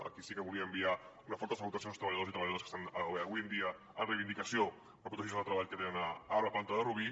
aquí sí que volia enviar una forta salutació als treballadors i treballadores que estan avui en dia en reivindicació per protegir els llocs de treball que tenen a la planta de rubí